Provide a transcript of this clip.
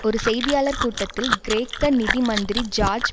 ஒரு செய்தியாளர் கூட்டத்தில் கிரேக்க நிதி மந்திரி ஜோர்ஜ்